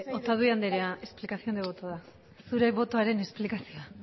otadui andrea explicación de voto da zure botoaren esplikazioa